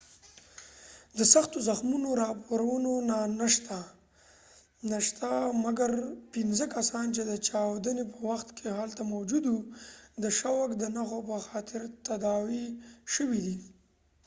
د سختو زخمونو راپورونه نه شته مګر پنځه کسان چې د چاودنی په وخت کې هلته موجود و د شوک د نښو په خاطر تداوي شوي دي